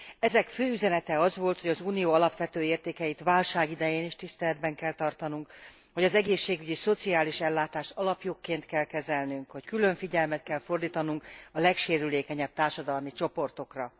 Ezek fő üzenete az volt, hogy az Unió alapvető értékeit válság idején is tiszteletben kell tartanunk, hogy az egészségügyi szociális ellátást alapjogként kell kezelnünk, hogy külön figyelmet kell fordítanunk a legsérülékenyebb társadalmi csoportokra.